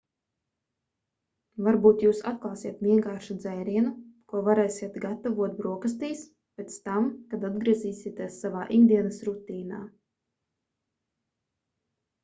varbūt jūs atklāsiet vienkāršu dzērienu ko varēsiet gatavot brokastīs pēc tam kad atgriezīsieties savā ikdienas rutīnā